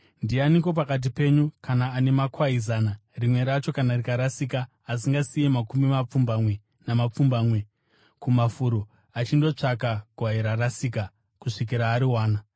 “Ndianiko pakati penyu kana ane makwai zana, rimwe racho kana rikarasika, asingasiyi makumi mapfumbamwe namapfumbamwe kumafuro achindotsvaka gwai rakarasika kusvikira ariwana?